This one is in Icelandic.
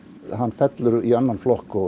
hann fellur í annan flokk og